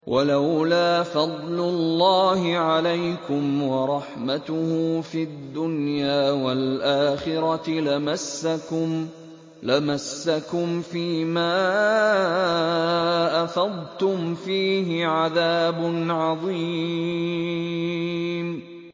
وَلَوْلَا فَضْلُ اللَّهِ عَلَيْكُمْ وَرَحْمَتُهُ فِي الدُّنْيَا وَالْآخِرَةِ لَمَسَّكُمْ فِي مَا أَفَضْتُمْ فِيهِ عَذَابٌ عَظِيمٌ